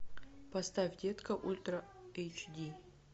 поставь детка ультра эйч ди